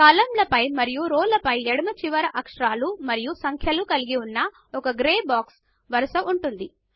కాలమ్ల పైన మరియు రోల ఎడమ చివర అక్షరాలు మరియు సంఖ్యలను కలిగిన్న ఒక గ్రే బాక్స్ల వరుస ఉంటుంది